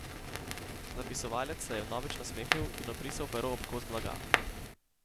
Zapisovalec se je vnovič nasmehnil in obrisal pero ob kos blaga.